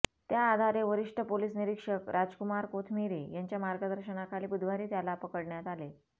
त्याआधारे वरिष्ठ पोलीस निरीक्षक राजकुमार कोथमिरे यांच्या मार्गदर्शनाखाली बुधवारी त्याला पकडण्यात आले